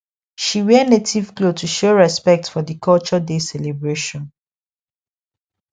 she wear native cloth to show respect for the culture day celebration